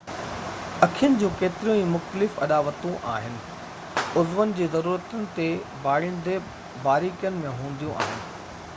اکين جون ڪيتريون ئي مختلف اڏاوتون آهن عضون جي ضرورتن تي ڀاڙيندي باريڪين ۾ هونديون آهن